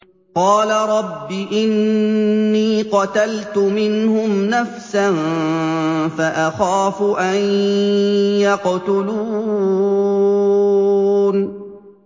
قَالَ رَبِّ إِنِّي قَتَلْتُ مِنْهُمْ نَفْسًا فَأَخَافُ أَن يَقْتُلُونِ